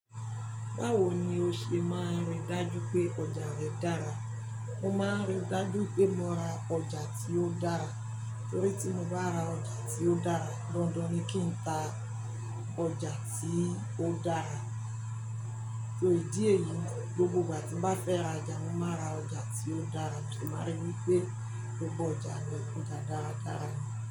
Báwo ni o ṣe máa ríi dájú pé ọjà rẹ dára? Mo máa ń ríi dájú pé mo ra ọjà tí ó dára, torí tí mo bá ra ọjà tí ó dára, dandan ni kí n ta ọjà tí ó dára. So idí ẹ̀yi, gbogbo ìgbà tí mo bá fẹ́ ra ọjà, mo máa ra ọjà tí ó dára mo de má rí wipé gbogbo ọjà mi ọjà dáradára ni.